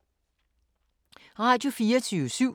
Radio24syv